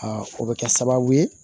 o bɛ kɛ sababu ye